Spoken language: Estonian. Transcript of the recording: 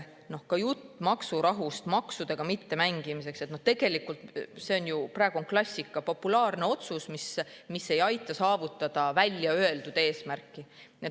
Ka jutt maksurahust, maksudega mittemängimisest – tegelikult see on ju praegu klassika, populaarne otsus, mis ei aita saavutada välja öeldud eesmärki.